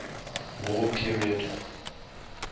war period